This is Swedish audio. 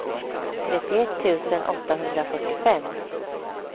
trettioett tusen åttahundrafyrtiofem